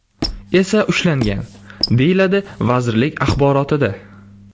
esa ushlangan”, deyiladi vazirlik axborotida.